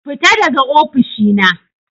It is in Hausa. Fita daga ofishina.